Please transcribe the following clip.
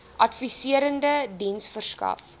adviserende diens verskaf